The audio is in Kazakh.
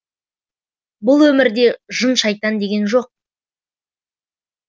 бұл өмірде жын шайтан деген жоқ